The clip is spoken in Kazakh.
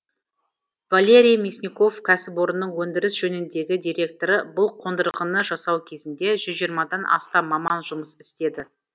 валерий мясников кәсіпорынның өндіріс жөніндегі директоры бұл қондырғыны жасау кезінде жүз жиырмадан астам маман жұмыс істеді